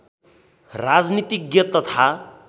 राजनीतिज्ञ तथा